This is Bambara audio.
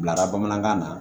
Bilara bamanankan na